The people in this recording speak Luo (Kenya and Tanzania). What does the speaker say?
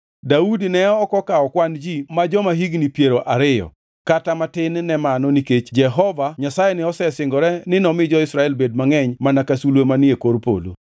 Daudi ne ok okawo kwan ji ma jo-higni piero ariyo, kata matin ne mano nikech Jehova Nyasaye ne osesingore ni nomi jo-Israel bed mangʼeny mana ka sulwe manie kor polo.